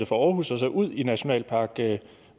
fra aarhus og ud i nationalpark